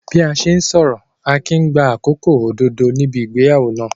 Bí a ṣe ń sọ̀rọ̀, Akin ń gba àkókò òdodo níbi ìgbéyàwó náà.